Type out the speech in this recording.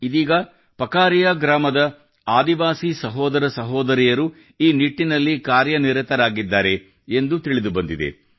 ಇದೀಗ ಪಕರಿಯಾ ಗ್ರಾಮದ ಆದಿವಾಸಿ ಸಹೋದರ ಸಹೋದರಿಯರು ಈ ನಿಟ್ಟಿನಲ್ಲಿ ಕಾರ್ಯನಿರತರಾಗಿದ್ದಾರೆ ಎಂದು ತಿಳಿದು ಬಂದಿದೆ